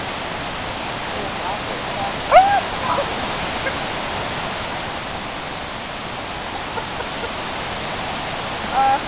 VIð erum atvinnumenn og hingað til hef ég engu samkomulagi náð við félagið.